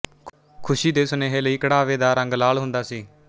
ਖੁਸ਼ੀ ਦੇ ਸੁਨੇਹੇ ਲਈ ਕੜਾਵੇਂ ਦਾ ਰੰਗ ਲਾਲ ਹੁੰਦਾ ਸੀ